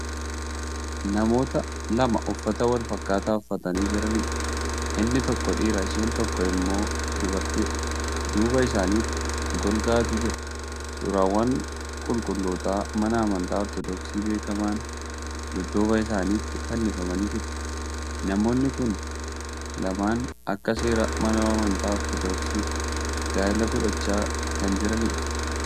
Namoota lama uffata walfakkaataa uffatanii Jiraniidha. inni tokko dhiira isheen tokko immoo dubartiidha. duuba isaanitti golgaatu jira. suuraawwan qulqulloota mana amantaa ortodoksiitti beekaman dudduuba isaanitti fannifamanii jiru. namoonni Kuni lamaan Akka seeraa mana amantaa ortodoksiitti gaa'ela godhachaa Kan jiraniidha.